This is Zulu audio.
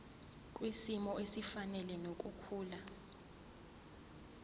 kwisimo esifanele nokukhula